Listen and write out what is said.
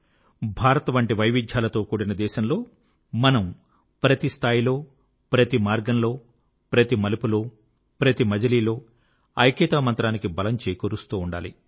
భారత్ వంటి వైవిధ్యాలతో కూడిన దేశంలో మనం ప్రతి స్థాయిలో ప్రతి మార్గంలో ప్రతి మలుపులో ప్రతి మజిలీలో ఐక్యతా మంత్రానికి బలం చేకూరుస్తూ ఉండాలి